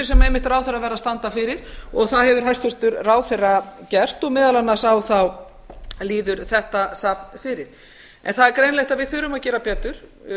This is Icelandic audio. sem einmitt ráðherrar verð að standa fyrir og það hefur hæstvirtur ráðherra gert og meðal annars líður þetta safn fyrir það er greinilegt að við þurfum að gera betur